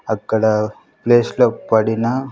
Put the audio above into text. అక్కడ ప్లేస్ లో పడిన.